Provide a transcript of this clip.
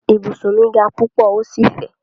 Ibùsùn mi ga púpọ̀ ó sì fẹ̀.